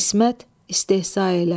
İsmət, istehza ilə.